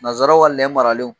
Nazaraw ka lɛ maralen.